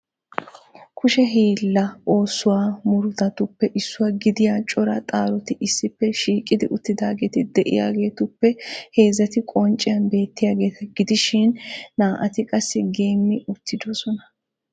Kushe hiilaa oosuwaa murutattuppe issuwa gidiya coraa xaaroti issippe shiiqi uttidaageeti de'iyaaheruppe heezzati qoncciyan beettiyaageeta gidishin naa"ati qassi geemi uttidoosona.